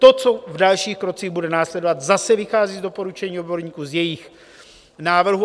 To, co v dalších krocích bude následovat, zase vychází z doporučení odborníků, z jejich návrhů.